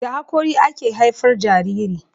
da hakori ake haifar Jariri